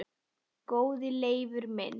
Góði Leifur minn